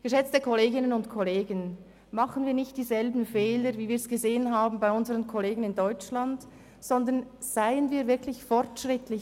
Geschätzte Kolleginnen und Kollegen, machen wir nicht dieselben Fehler, die wir bei unseren Kollegen in Deutschland gesehen haben, sondern seien wir wirklich fortschrittlich.